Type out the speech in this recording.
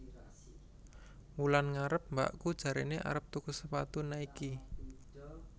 Wulan ngarep mbakku jarene arep tuku sepatu Nike